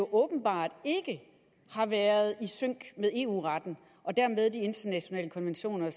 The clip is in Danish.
åbenbart ikke har været i sync med eu retten og dermed de internationale konventioner